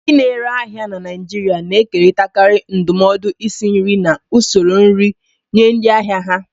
Ndị na-ere ahịa na Naijiria na-ekerịtakarị ndụmọdụ isi nri na usoro nri nye ndị ahịa ha.